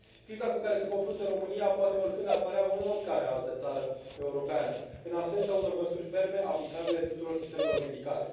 Criza cu care se confruntă România poate oricând apărea în oricare altă țară europeană, în absența unor măsuri ferme, aplicabile tuturor sistemelor medicale.